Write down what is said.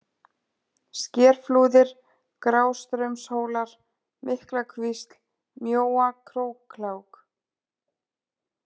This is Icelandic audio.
Skerflúðir, Grástraumshólar, Miklakvísl, Mjóa-Króklág